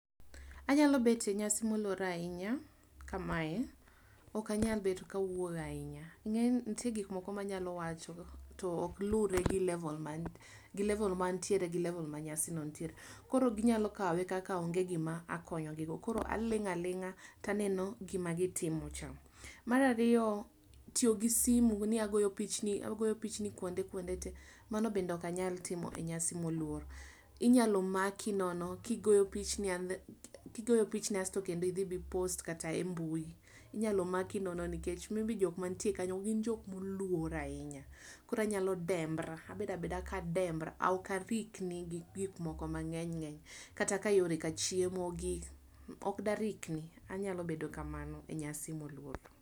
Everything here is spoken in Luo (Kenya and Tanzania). Anyalo bet e nyasi moluor ahinya kama e, okanyal bet kawuoyo ahinya. Ing'eni nitiere giko moko manyalo wacho, to ok lure gi level ma, gi level mantiere gi level ma nyasi no nitiere. Koro ginyalo kawe kaka onge gima akonyo gi go. Koro aling' aling'a taneno gima gitimo cha. Mar ariyo, tiyo gi simu ni agoyo pichni, agoyo pichni kuonde kuonde tee. Mano bende okanyal timo e nyasi moluor. Inyalo maki nono kigoyo pichni, kigoyo pichni asto kendo idhi bi post kata e mbui. Inyalo maki nono nikech maybe jok mantie kanyo gin jok moluor ahinya. Koro anyalo dembra, abedo abeda ka adembra, ok arikni gi gikmoko ma ng'eny ng'eny, kata ka yore ka chiemo gi, ok darikni. Anyalo bedo kamano e nyasi moluor.